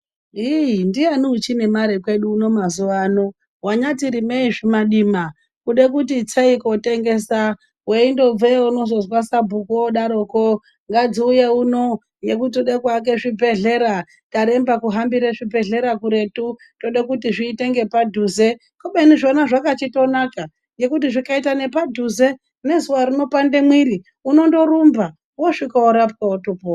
Iiiii ndiyani uchine mare kweduuno mazuvaano wanyati rimei zvimadima kude kuti itseyi kotengesa weindobveyo unozozwa sabhuku odaroko ngadziuye uno nekuti toda kuti tiake zvibhedhlera taremba kuhambire zvibhedhlera kubeni zvona zvaka chindonaka ngekuti nezuva rinopanda mwiiri unondorumba wosvike worapwa wotopora.